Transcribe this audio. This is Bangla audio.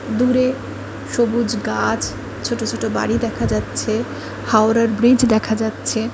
দূরে সবুজ গাছ ছোটো ছোটো বাড়ি দেখা যাচ্ছে হাওড়ার ব্রিজ দেখা যাচ্ছে ।